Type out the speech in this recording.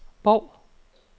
Bov